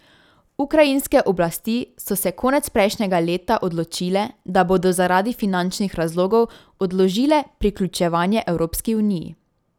Ukrajinske oblasti so se konec prejšnjega leta odločile, da bodo zaradi finančnih razlogov odložile priključevanje Evropski uniji.